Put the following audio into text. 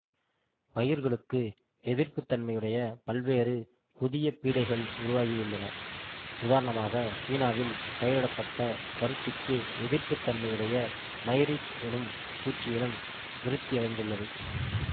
பயிர்களுக்கு எதிர்ப்புத்தன்மையுடைய பல்வேறு புதிய பீடைகள் உருவாகியுள்ளன உதாரணமாக சீனாவில் பயிரிடப்பட்ட பருத்திக்கு எதிர்ப்புத்தன்மையுடைய மைரிட் எனும் பூச்சியினம் விருத்தியடைந்துள்ளது